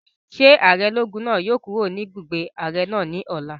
Ṣé ààrẹ ológun náà yóò kúrò ní ibùgbé ààrẹ náà ní ọ̀la?